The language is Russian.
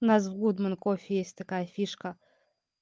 у нас в гудмен кофе есть такая фишка